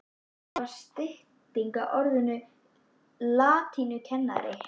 Það er stytting á orðinu latínukennari.